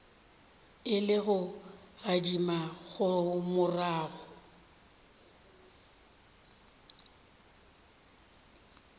e le go gadima morago